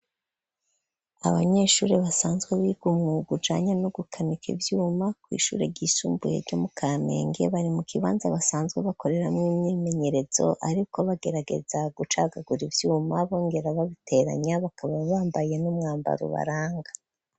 Abanyeshure basanzwe biga umwuga ujanye n'ugukanika ivyuma, kw'ishure ryisumbuye ryo mu Kamenge, bari mu kibanza basanzwe bakoreramwo imyimenyerezo, ariko bagerageza gucagagura ivyuma bongera babiteranya, bakaba bambaye n'umwambaro ubaranga.